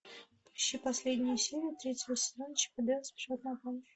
ищи последнюю серию третьего сезона чип и дейл спешат на помощь